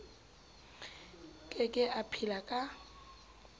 ke ke a phela ka